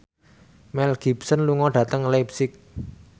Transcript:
Mel Gibson lunga dhateng leipzig